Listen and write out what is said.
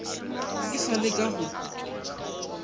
ke sa le ka go